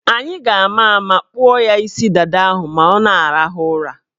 Anyị ga-ama ụma kpụọ ya isi dada ahụ ma ọ na-arahụ ụra.